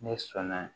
Ne sɔnna